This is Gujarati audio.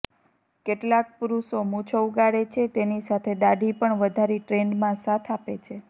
કેટલાંક પુરુષો મૂછો ઉગાડે છે તેની સાથે દાઢી પણ વધારી ટ્રેન્ડમાં સાથ આપે છે